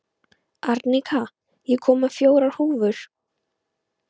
Arnika, ég kom með fjórar húfur!